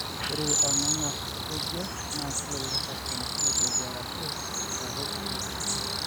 ore orngarngar otejia na kelelek eton etejia arashu eaku kiti pii